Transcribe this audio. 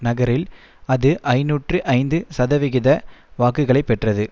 நகரில் அது ஐநூற்று ஐந்து சதவிகித வாக்குகளை பெற்றது